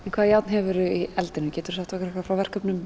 en hvaða járn hefurðu í eldinum geturðu sagt okkur frá verkefnum